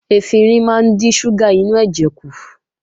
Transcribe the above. Efinrin máa ń dín ṣúgà inú ẹ̀jẹ̀ kù